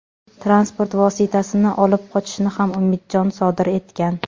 Transport vositasini olib qochishni ham Umidjon sodir etgan.